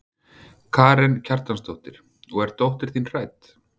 Karen Kjartansdóttir: Og er dóttir þín hrædd?